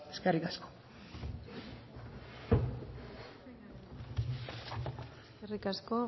eskerrik asko eskerrik asko